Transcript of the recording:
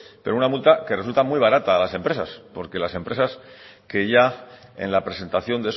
pero una multa que resulta muy barata a las empresas porque las empresas que ya en la presentación